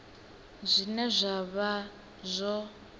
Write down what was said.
zwine zwa nga vha zwo